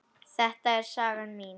Þetta er saga mín.